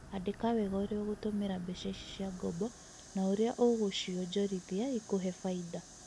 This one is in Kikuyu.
Andika wega urĩa ũgũtũmĩra mbeca ici cia ngombo na ũrĩa ũrîa ũgũ cionjorithĩa ĩkuhe bainda.